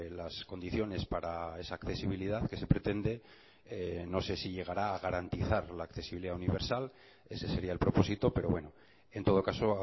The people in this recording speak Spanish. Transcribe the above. las condiciones para esa accesibilidad que se pretende no sé si llegará a garantizar la accesibilidad universal ese sería el propósito pero bueno en todo caso